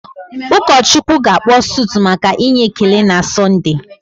Ụọchukwu ga-akpọ sụtụ maka inye ekele na Sọnde.